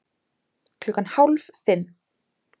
Klukkan hálf fimm